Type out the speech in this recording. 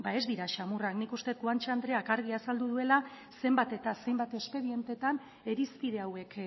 ez dira samurrak nik uste dut guanche andreak argi azaldu duela zenbat eta zenbat espedientetan irizpide hauek